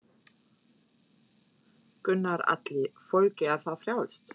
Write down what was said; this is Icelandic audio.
Gunnar Atli: Fólki er það frjálst?